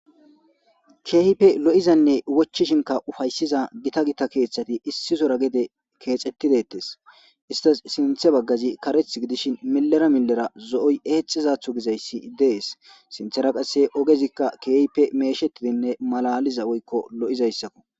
Kehippe lo'izane wochishinka ufayisiza Gita kethati issisora gede kexeti detes sinthe bagazi karethi gidishin milera milera zo'oy exizada gizaysi des sinthara qase kehippe meshetidine malaliza woykon lo'izaysako.